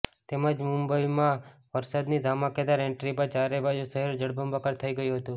તેમજ મુંબઇમાં વરસાદની ધમાકેદાર એન્ટ્રી બાદ ચારે બાજુ શહેર જળબંબાકાર થઇ ગયું હતું